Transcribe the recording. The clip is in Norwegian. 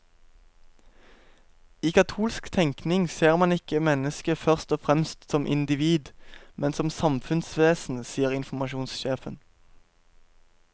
I katolsk tenkning ser man ikke mennesket først og fremst som individ, men som samfunnsvesen, sier informasjonssjefen.